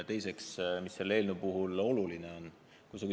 Teiseks, mis selle eelnõu puhul oluline on?